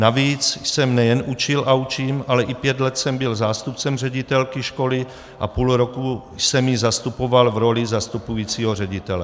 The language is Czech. Navíc jsem nejen učil a učím, ale i pět let jsem byl zástupcem ředitelky školy a půl roku jsem ji zastupoval v roli zastupujícího ředitele.